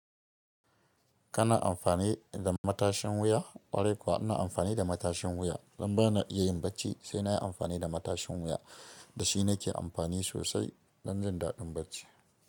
Kana amfani da matashin wuya? Ƙwarai kuwa ina amfani da matashin wuya. Dan ba na yi yin bacci, sai na yi amfani da matashin wuya. Da shi nake amfani sosai, don jin daɗin bacci.